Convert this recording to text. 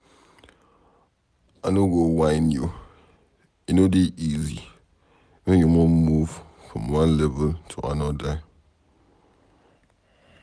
I no go whine you, e no dey easy when you wan move from one level to anodir